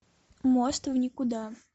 мост в никуда